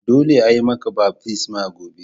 Dolle a'yi maka baftisma gobe.